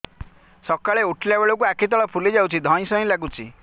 ସକାଳେ ଉଠିଲା ବେଳକୁ ଆଖି ତଳ ଫୁଲି ଯାଉଛି ଧଇଁ ସଇଁ ଲାଗୁଚି